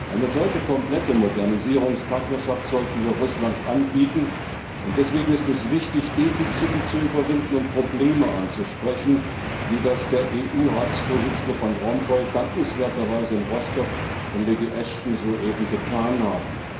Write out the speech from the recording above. Eine solche komplette Modernisierungspartnerschaft sollten wir Russland anbieten, und deswegen ist es wichtig, Defizite zu überwinden und Probleme anzusprechen, wie das der Präsident des Europäischen Rates Van Rompuy dankenswerterweise in Rostow und Lady Ashton soeben getan haben.